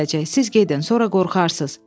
Siz gedin, sonra qorxarsız.